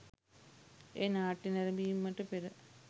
එය නාට්‍ය නැරඹීමට පෙර